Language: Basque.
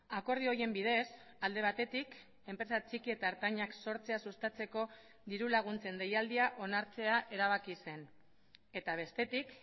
akordio horien bidez alde batetik enpresa txiki eta ertainak sortzea sustatzeko diru laguntzen deialdia onartzea erabaki zen eta bestetik